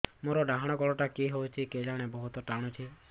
ମୋର୍ ଡାହାଣ୍ ଗୋଡ଼ଟା କି ହଉଚି କେଜାଣେ ବହୁତ୍ ଟାଣୁଛି